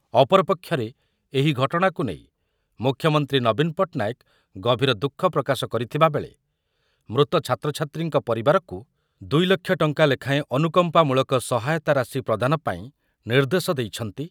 ଅପରପକ୍ଷରେ ଏହି ଘଟଣାକୁ ନେଇ ମୁଖ୍ୟମନ୍ତ୍ରୀ ନବୀନ ପଟ୍ଟନାୟକ ଗଭୀର ଦୁଃଖ ପ୍ରକାଶ କରିଥିବା ବେଳେ ମୃତ ଛାତ୍ରଛାତ୍ରୀଙ୍କ ପରିବାରକୁ ଦୁଇ ଲକ୍ଷ ଟଙ୍କା ଲେଖାଏଁ ଅନୁକମ୍ପାମୂଳକ ସହାୟତା ରାଶି ପ୍ରଦାନ ପାଇଁ ନିର୍ଦ୍ଦେଶ ଦେଇଛନ୍ତି